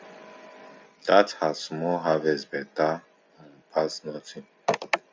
that her small harvest better um pass nothing